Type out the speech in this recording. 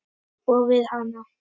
Og við hana.